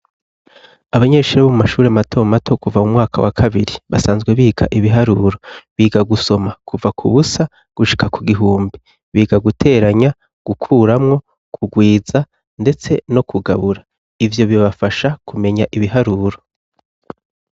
Abanyeshuri bo mumashuri mato mato kuva mumwaka wa kabiri basanzwe biga ibiharuro biga gusoma kuva ku busa gushika ku gihumbi biga guteranya gukuramwo kugwiza ndetse no kugabura ivyo bibafasha kumenya ibiharuro.